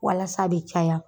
Walas'a be caya